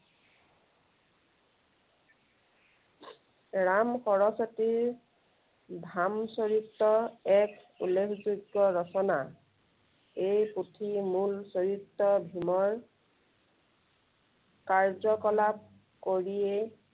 ৰাম সৰস্বতীৰ ভাম চৰিত এক উল্লেখযোগ্য় ৰচনা। এই পুথিৰ মূল চৰিত্ৰ ভীমৰ কাৰ্যকলাপ কৰিয়েই